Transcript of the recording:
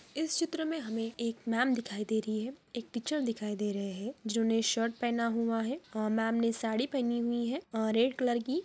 ''इस चित्र में हमें एक मैम दिखाई दे रही है एक टीचर दिखाई दे रहे हैं जिन्होंने शर्ट पहना हुआ है और मैम ने साड़ी पहनी हुई है अ रेड कलर की ।''